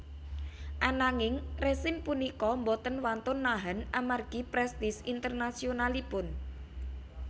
Ananging rezim punika boten wantun nahan amargi prestise internasionalipun